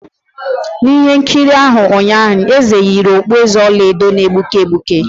N'ihe nkiri ahụ ụnyaahụ, eze yiri okpueze ọla edo na-egbuke egbuke